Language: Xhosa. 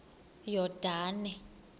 yordane